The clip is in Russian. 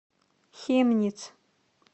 хемниц